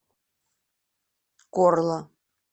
корла